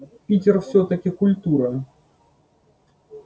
питер всё-таки культура